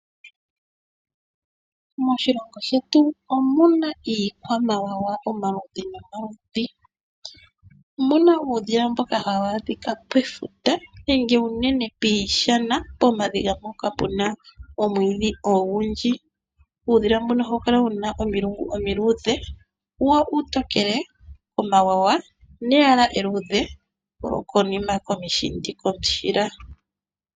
Moshilongo shetu omuna iikwamawawa omaludhi nomaludhi. Omuna uudhila mboka hawu adhika pefuta nenge unene piishana, pomadhiya mpoka puna omwiidhi ogundji. Uudhila mbuno ohawu kala wuna omilungu omiluudhe wo uutokele wuna omawawa neyala eluudhe komushindi.